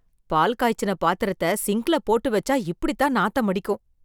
பால் காய்ச்சின பாத்திரத்த சிங்க்ல போட்டு வெச்சா இப்படித்தான் நாத்தம் அடிக்கும்.